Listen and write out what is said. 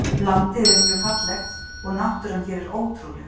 Landið er mjög fallegt og náttúran hér er ótrúleg.